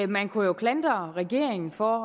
man kunne jo klandre regeringen for